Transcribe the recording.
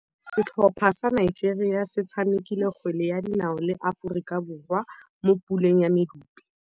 Setlhopha sa Nigeria se tshamekile kgwele ya dinaô le Aforika Borwa mo puleng ya medupe.